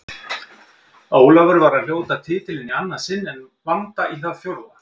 Ólafur var að hljóta titilinn í annað sinn en Vanda í það fjórða.